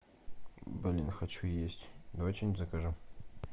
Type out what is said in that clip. блин хочу есть давай что нибудь закажем